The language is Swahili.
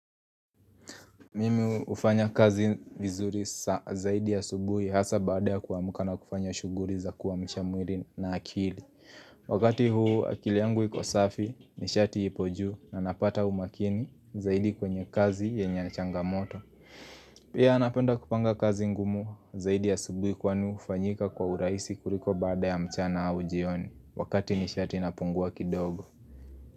Mimi hufanya kazi vizuri zaidi asubuhi hasa baada ya kuamka na kufanya shughuri za kuamsha mwiri na akili. Wakati huu akili yangu iko safi nishati ipo juu na napata umakini zaidi kwenye kazi yenye changamoto. Pia napenda kupanga kazi ngumu zaidi asubuhi kwani hufanyika kwa urahisi kuliko baada ya mchana au jioni. Wakati nishati inapungua kidogo.